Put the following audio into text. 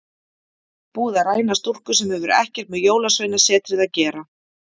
Búið að ræna stúlku sem hefur ekkert með Jólasveinasetrið að gera.